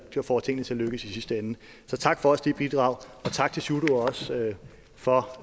der får tingene til at lykkes i sidste ende så tak også for dit bidrag og tak til sjúrður skaale for